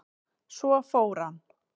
Svo fór hann.